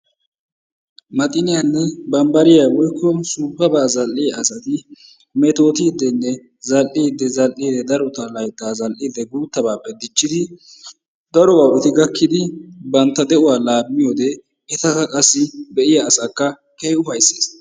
maxiyanne bambbariya woykko suuppaba zal''iyaa asati metoottidenne zal''ide zal''ide daro laytta zal''ide guuttabappe diccidi daruwaaba eti gakkidi bantta de'uwaa laammiyoode etakka qassi be'iyaa asakka keehin ufayssees.